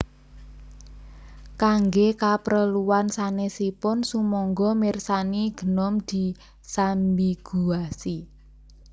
Kangge kapreluan sanèsipun sumangga mirsani Gnome disambiguasi